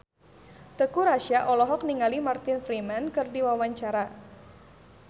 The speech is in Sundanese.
Teuku Rassya olohok ningali Martin Freeman keur diwawancara